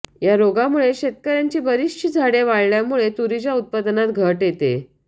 या रोगामुळे शेतकऱ्याची बरीचशी झाडे वाळल्या मुळे तुरीच्या उत्पादनात घट येते